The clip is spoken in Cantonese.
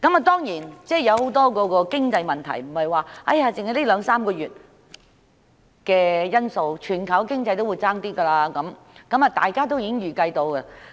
當然，很多經濟問題的出現，不能只歸咎於這兩三個月的因素，全球經濟環境欠佳，是大家可以預計到的。